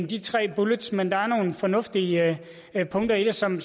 de tre bullets men der er nogle fornuftige punkter i det som